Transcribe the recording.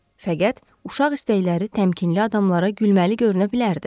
Fəqət uşaq istəkləri təmkinli adamlara gülməli görünə bilərdi.